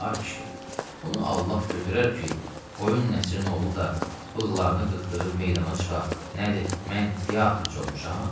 A kişi, bunu Allah götürər ki, Qoyun Nəsirin oğlu da bığlarını qırxdırıb meydana çıxa, nədir, mən teatrçı olmuşam?